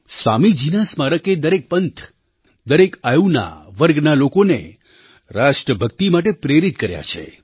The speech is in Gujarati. સ્વામીજીના સ્મારકે દરેક પંથ દરેક આયુના વર્ગના લોકોને રાષ્ટ્રભક્તિ માટે પ્રેરિત કર્યા છે